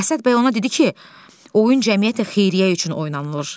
Əsəd bəy ona dedi ki, oyun cəmiyyətə xeyriyyə üçün oynanılır.